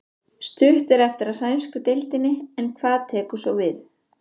Stutt er eftir af sænsku deildinni en hvað tekur svo við?